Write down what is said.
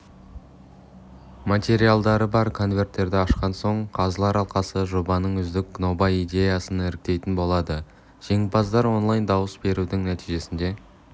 материалдары бар конверттерді ашқан соң қазылар алқасы жобаның үздік нобай-идеясын іріктейтін болады жеңімпаздар онлайн-дауыс берудің нәтижесінде